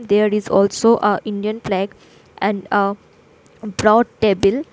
There is also a indian flag and a brown table.